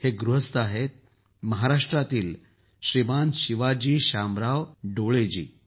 हे गृहस्थ आहेत महाराष्ट्रातील श्रीमान शिवाजी श्मामराव डोलेजी